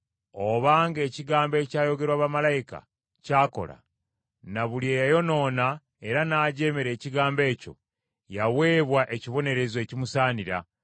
Obanga ekigambo ekyayogerwa bamalayika kyakola, na buli eyayonoona era n’ajeemera ekigambo ekyo, yaweebwa ekibonerezo ekimusaanira,